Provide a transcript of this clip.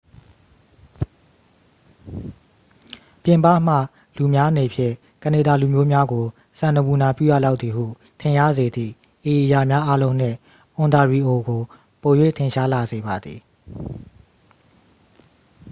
ပြင်ပမှလူများအနေဖြင့် ကနေဒါလူမျိုးများကို စံနမူနာပြုရလောက်သည်ဟု ထင်ရစေသည့် ဤအရာများအားလုံးနှင့် အွန်တာရီအိုကို ပို၍ထင်ရှားလာစေပါသည်